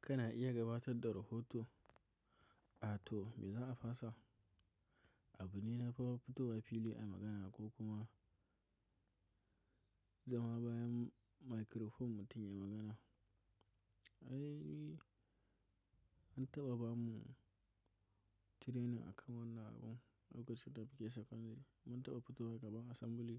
Kana iya gabatar da rohoto, a to me za a fasa? Abu ne na fafutowa fili a magana ko kuma zama bayan microphone mutum ya magana. I, an taɓa bamu training a kan wannan abun a gaskiya ta fiye da shekaru hudu. Mun taɓa fito gaban assembly